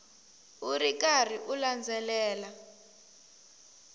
u ri karhi u landzelela